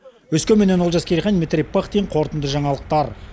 өскеменнен олжас керейхан дмитрий пыхтин қорытынды жаңалықтар